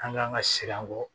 An kan ka siran bɔ